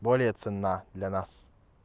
более ценна для нас